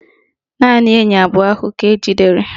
Naanị enyi abụọ ahụ ka ejidere